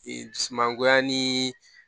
Ee du mangoya ni